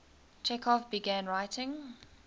chekhov began writing